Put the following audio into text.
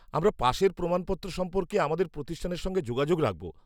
আমরা পাশের প্রমাণপত্র সম্পর্কে আমাদের প্রতিষ্ঠানের সঙ্গে যোগাযোগ রাখব।